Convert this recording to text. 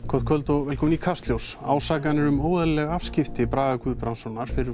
gott kvöld og velkomin í Kastljós ásakanir um óeðlileg afskipti Braga Guðbrandssonar fyrrum